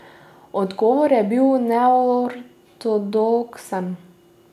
Odgovor je bil neortodoksen.